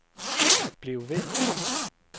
bliv ved